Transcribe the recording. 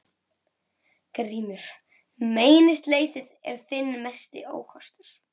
GRÍMUR: Meinleysið er þinn mesti ókostur.